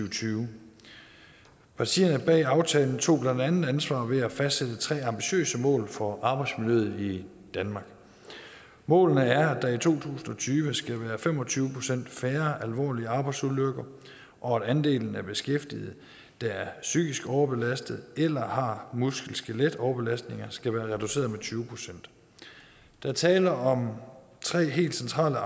og tyve partierne bag aftalen tog blandt andet ansvar ved at fastsætte tre ambitiøse mål for arbejdsmiljøet i danmark målene er at der i to tusind og tyve skal være fem og tyve procent færre alvorlige arbejdsulykker og at andelen af beskæftigede der er psykisk overbelastede eller har muskel og skeletoverbelastninger skal være reduceret med tyve procent der er tale om tre helt centrale